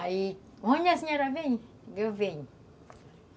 Aí, onde a senhora vem, eu venho.